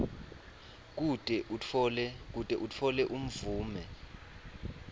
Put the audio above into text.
kute utfole imvume